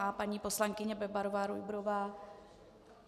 A paní poslankyně Bebarová Rujbrová?